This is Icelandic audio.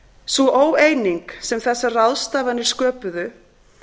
sú óeining sem þessar ráðstafanir sköpuðu